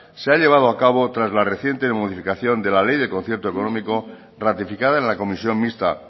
se ha llevado a cabo tras la reciente modificación de la ley de concierto económico ratificada en la comisión mixta